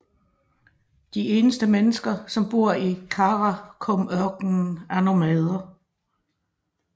De eneste mennesker som bor i Karakumørkenen er nomader